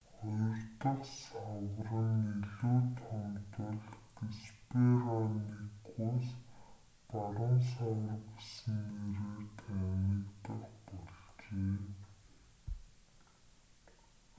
хоёр дахь савар нь илүү том тул геспероникус баруун савар гэсэн нэрээр танигдах болжээ